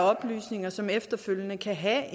oplysninger som efterfølgende kan have